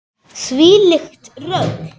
Þvílíkt rugl.